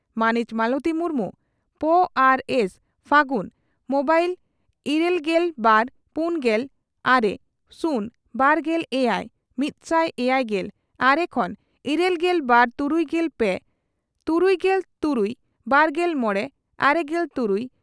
ᱢᱟᱹᱱᱤᱡ ᱢᱟᱞᱚᱛᱤ ᱢᱩᱨᱢᱩ, ᱾ᱯᱹ ᱟᱨ ᱥᱹ, ᱯᱷᱟᱹᱜᱩᱱ᱾ᱢᱚᱵᱹ ᱤᱨᱟᱹᱞᱜᱮᱞ ᱵᱟᱨ ,ᱯᱩᱱᱜᱮᱞ ᱟᱨᱮ ,ᱥᱩᱱ ᱵᱟᱨᱜᱮᱞ ᱮᱭᱟᱭ ,ᱢᱤᱛᱥᱟᱭ ᱮᱭᱟᱭᱜᱮᱞ ᱟᱨᱮ ᱠᱷᱚᱱ ᱤᱨᱟᱹᱞᱜᱮᱞ ᱵᱟᱨ ᱛᱩᱨᱩᱭᱜᱮᱞ ᱯᱮ ,ᱛᱩᱩᱭᱜᱮᱞ ᱛᱩᱨᱩᱭ ,ᱵᱟᱨᱜᱮᱞ ᱢᱚᱲᱮ ,ᱟᱨᱮᱜᱮᱞ ᱛᱩᱨᱩᱭ